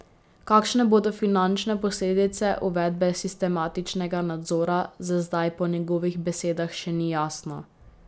Kakšne bodo finančne posledice uvedbe sistematičnega nadzora, za zdaj po njegovih besedah še ni jasno.